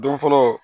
Don fɔlɔ